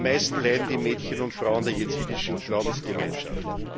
Am meisten leiden die Mädchen und Frauen der jesidischen Glaubensgemeinschaft.